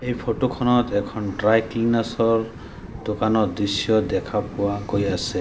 এই ফটো খনত এখন ড্ৰাই ক্লিনাৰচ্ ৰ দোকানৰ দৃশ্য দেখা পোৱা গৈ আছে।